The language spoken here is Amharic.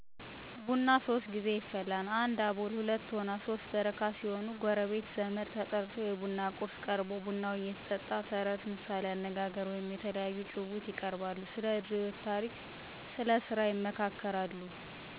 ቡና ሶስት ጌዜ ይፈላል 1 አቦል 2ቶና 3 በረካ ሲሆኑ ጎረቤት፣ ዘመድ ተጠርተው የቡና ቁርስ ቀርቦ ቡናው እየተጠጣ ተረት፣ ምሣሌ አነጋገር ወይም የተለያዩ ጭውውት ይቀርባሉ። ስለድሮ የህይወት ታሪክ ስለስራ ይመካከራሉ።